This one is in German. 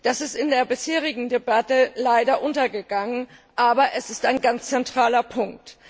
Das ist in der bisherigen Debatte leider untergegangen, aber es ist ein ganz zentraler Punkt.